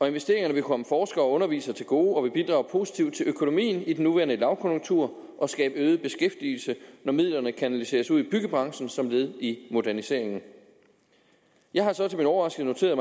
investeringerne vil komme forskere og undervisere til gode og vil bidrage positivt til økonomien i den nuværende lavkonjunktur og skabe øget beskæftigelse når midlerne kanaliseres ud i byggebranchen som led i moderniseringen jeg har så til min overraskelse